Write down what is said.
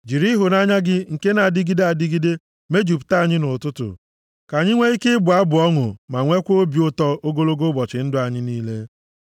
Jiri ịhụnanya gị nke na-adịgide adịgide, mejupụta anyị nʼụtụtụ, ka anyị nwee ike ịbụ abụ ọṅụ ma nwekwaa obi ụtọ ogologo ụbọchị ndụ anyị niile.